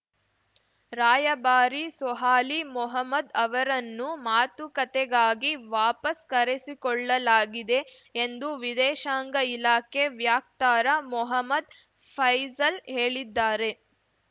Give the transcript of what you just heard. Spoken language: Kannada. ರಾಯಭಾರಿ ಸೊಹಾಲಿ ಮೊಹಮೂದ್‌ ಅವರನ್ನು ಮಾತುಕತೆಗಾಗಿ ವಾಪಸ್‌ ಕರೆಸಿಕೊಳ್ಳಲಾಗಿದೆ ಎಂದು ವಿದೇಶಾಂಗ ಇಲಾಖೆ ವ್ಯಕ್ತಾರ ಮೊಹಮ್ಮದ್‌ ಫೈಸಲ್‌ ಹೇಳಿದ್ದಾರೆ